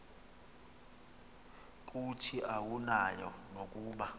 kuthi awunayo nokuba